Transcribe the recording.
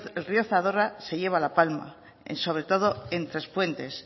el río zadorra se lleva la palma sobre todo el trespuentes